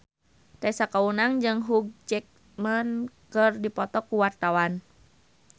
Tessa Kaunang jeung Hugh Jackman keur dipoto ku wartawan